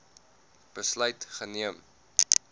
besluit geneem